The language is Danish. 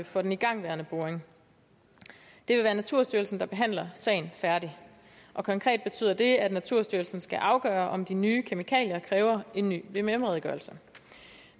for den igangværende boring det vil være naturstyrelsen der behandler sagen færdig og konkret betyder det at naturstyrelsen skal afgøre om de nye kemikalier kræver en ny vvm redegørelse